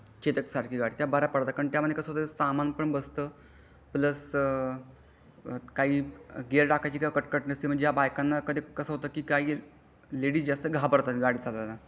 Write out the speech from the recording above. चेतक सारखी गाडी त्या बऱ्या पडतात त्या मध्ये कसा होता त्या मध्ये सामान पण बसता प्लस काही गियर टाकायची कटकट नसते म्हणजे या बायकांना कधी कसा होता लडीएस जास्त घाबरतात गाडी चालवायला.